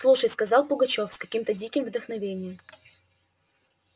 слушай сказал пугачёв с каким-то диким вдохновением